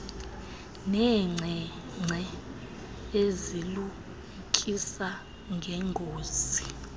neenkcenkce ezilumkisa ngeengozi